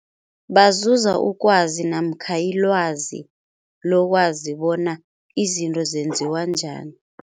Bazuza ukwazi namkha ilwazi lokwazi bona izinto zenziwa njani.